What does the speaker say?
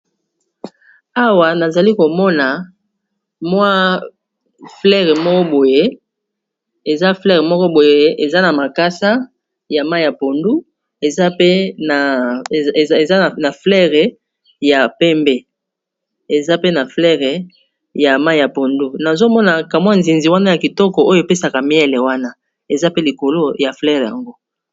Awa nazali komona mua fololo moko boye, eza fololo moko boye eza na makasa ya langi ya mai ya pondu, eza na fololo ya pembe, eza pe na fololo ya mai ya pondu, nazomonaka mua nzoi wana ya kitoko oyo epesaka mafuta ya nzoi wana eza pe likolo ya fololo yango.